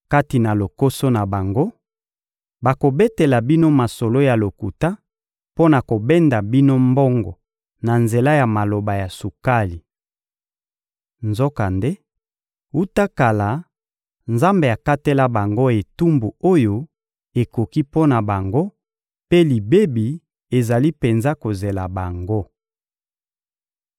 Kati na lokoso na bango, bakobetela bino masolo ya lokuta mpo na kobenda bino mbongo na nzela ya maloba ya sukali. Nzokande, wuta kala, Nzambe akatela bango etumbu oyo ekoki mpo na bango, mpe libebi ezali penza kozela bango.